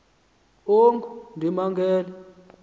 ongundimangele